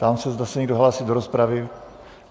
Ptám se, zda se někdo hlásí do rozpravy?